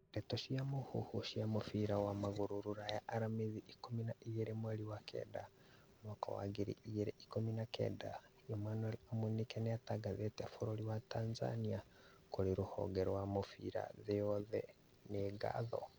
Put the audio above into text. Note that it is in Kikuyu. Ndeto cia mũhuhu cia mũbira wa magũrũ Rũraya aramithi ikũmi na igĩrĩ mweri wa kenda mwaka wa ngiri igĩrĩ ikũmi na kenda, Emmanuel Amunike nĩathitangĩte bũrũri wa Tanzania kũrĩ rũhonge rwa mũbira thĩ yothe - nĩ ngatho?